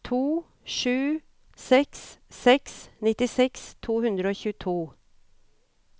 to sju seks seks nittiseks to hundre og tjueto